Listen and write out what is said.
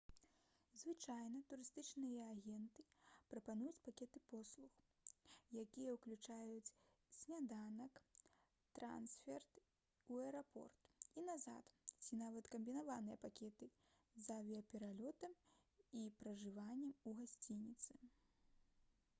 звычайна турыстычныя агенты прапануюць пакеты паслуг якія ўключаюць сняданак трансферт у аэрапорт і назад ці нават камбінаваныя пакеты з авіяпералётам і пражываннем у гасцініцы